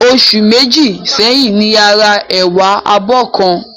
Oṣù Méjì sẹ́yìn ni a ra ẹ̀wà abọ́ kan